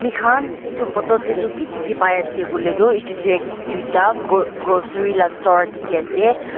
mikhan edu photo taetu ki dikhipaiase ase koilae tuedu tu tuita grocery la store dikhiase.